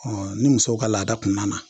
ni musow ka laada kun nana